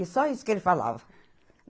E só isso que ele falava.